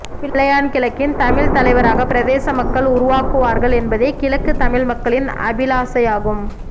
பிள்ளையான் கிழக்கின் தமிழ் தலைவராக பிரதேச மக்கள் உருவாக்குவார்கள் என்பதே கிழக்கு தமிழ் மக்களின் அபிலாசையாகும்